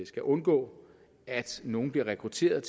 skal undgå at nogle bliver rekrutteret